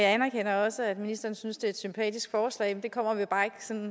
anerkender også at ministeren synes det er et sympatisk forslag men det kommer vi bare ikke